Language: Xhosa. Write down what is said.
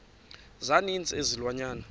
za ninzi izilwanyana